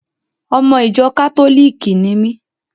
Ọmọ ìjọ kátólìkì ni mí.